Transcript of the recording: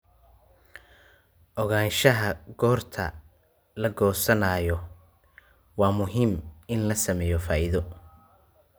Ogaanshaha goorta la goosanayo waa muhiim in la sameeyo faa'iido.